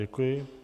Děkuji.